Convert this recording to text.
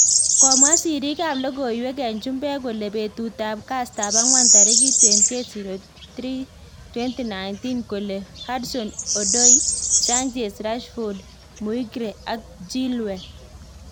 Komwa sirrik ab lokoiwek en chumbek kole betut ab kastap ang'wan tarikit 28.03.19 kole; Hudson-Odoi, Sanchez, Rashford, Maguire ak Chilwell